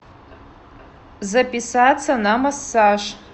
записаться на массаж